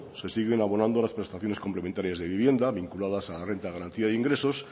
se siguen abonando las prestaciones complementarias de vivienda vinculadas a la renta de garantía se ingresos